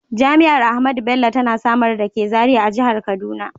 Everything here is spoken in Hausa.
Jami’ar Ahmadu Bello tana Samaru dake Zariya a Jihar Kaduna.